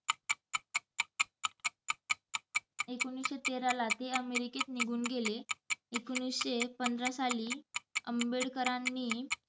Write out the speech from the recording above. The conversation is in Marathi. एकोणिसशे तेराला ते अमेरिकेत निघून गेले. एकोणिसशे पंधरा साली आंबेडकरांनी